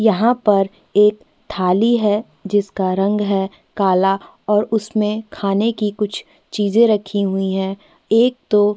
यहाँ पर एक थाली है जिसका रंग है काला और उसमें खाने की कुछ चीजें रखी हुई है एक तो --